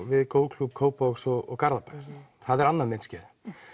við golfklúbb Kópavogs og Garðabæjar það er annað myndskeið